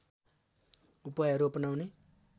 उपायहरू अपनाउने